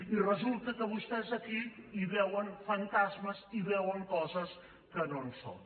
i resulta que vostès aquí hi veuen fantasmes i hi veuen coses que no són